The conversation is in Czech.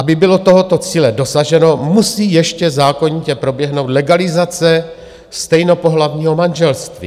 Aby bylo tohoto cíle dosaženo, musí ještě zákonitě proběhnout legalizace stejnopohlavního manželství.